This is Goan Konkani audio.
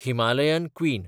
Himalayan queen